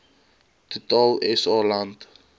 total sa land